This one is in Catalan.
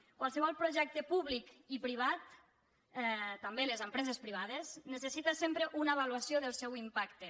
qualsevol projecte públic i privat també les empreses privades necessita sempre una avaluació del seu impacte